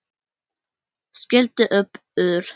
Skellti upp úr.